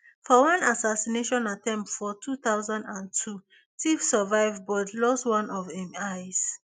for one assassination attempt for two thousand and two tiff survive but lost one of im eyes